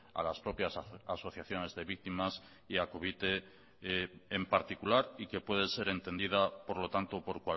a las propias asociaciones de víctimas y a covite en particular y que puede ser entendida por lo tanto por